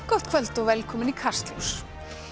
gott kvöld og velkomin í Kastljós